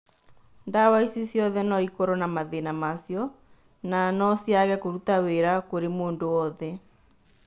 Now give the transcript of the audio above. Ndawa ici ciothe noikorwo na mathĩna macio na no ciage kũruta wĩra kũrĩ mũndũ wothe